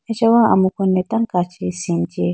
achawa amuku ne tando kachi scene chee.